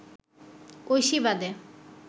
ঐশী বাদে